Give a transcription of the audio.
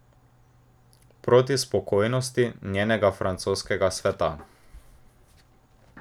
Proti spokojnosti njenega francoskega sveta.